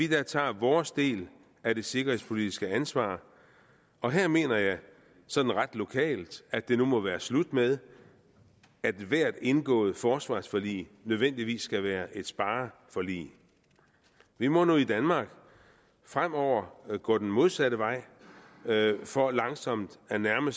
tager vores del af det sikkerhedspolitiske ansvar og her mener jeg sådan ret lokalt at det nu må være slut med at ethvert indgået forsvarsforlig nødvendigvis skal være et spareforlig vi må nu i danmark fremover gå den modsatte vej for langsomt at nærme